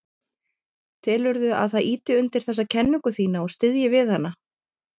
Telurðu að það ýti undir þessa kenningu þína og styðji við hana?